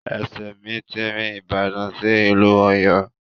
Ẹsẹ̀ mi ti rin ìbàdàn sí ìlú Ọ̀yọ́.